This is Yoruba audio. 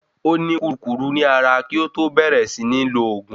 Ó ní kúrukùru ní ara kí ó tó bẹ̀ẹ̀rẹ̀ sí ní lòògùn.